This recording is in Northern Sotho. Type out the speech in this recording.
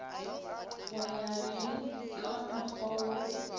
go ya le kamokgwa wo